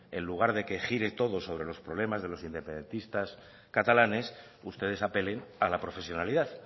en lugar de que gire todo sobre los problemas de los independentistas catalanes ustedes apelen a la profesionalidad